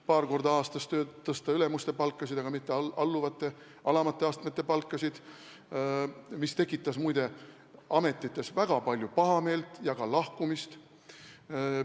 Paar korda aastas tõsteti ülemuste palkasid, aga mitte alamate astmete palkasid, mis tekitas, muide, väga palju pahameelt ja töölt lahkumist.